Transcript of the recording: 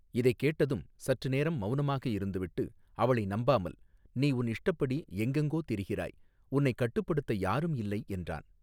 இதை கேட்டதும் சற்று நேரம் மௌனமாக இருந்து விட்டு அவளை நம்பாமல் நீ உன் இஷ்டப்படி எங்கெங்கோ திரிகிறாய் உன்னை கட்டுப் படுத்த யாருமே இல்லை என்றான்.